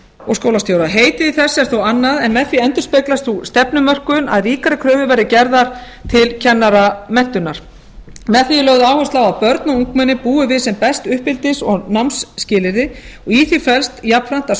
og skólastjóra heitið í þessu er þó annað en með því endurspeglast sú stefnumörkun að ríkari kröfur verði gerðar til kennaramenntunar með því er lagt á að börn og ungmenni búi við sem best uppeldis og námsskilyrði og í því felst jafnframt að